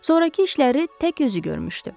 sonrakı işləri tək özü görmüşdü.